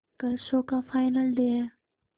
कल शो का final day है